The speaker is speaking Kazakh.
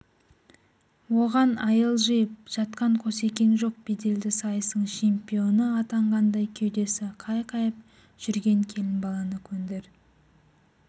оған айыл жиып жатқан қосекең жоқ беделді сайыстың чемпионы атанғандай кеудесі қайқайып жүрген келін баланы көндір